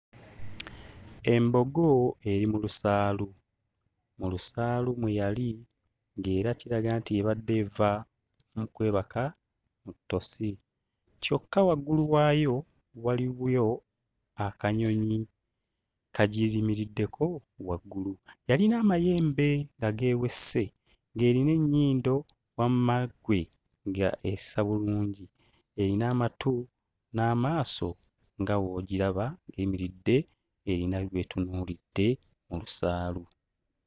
Embogo eri mu lusaalu. Mu lusaalu mwe yali nga era kiraga nti ebadde eva mu kwebaka mu ttosi. Kyokka waggulu waayo waliyo akanyonyi kagirimiriddeko waggulu. Yalina amayembe nga geewese, ng'erina ennyindo wamma ggwe ng'essa bulungi. Erina amatu n'amaaso nga w'ogiraba, eyimiridde eyina by'etunuulidde mu lusaalu.